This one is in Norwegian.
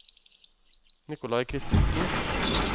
Nikolai Kristensen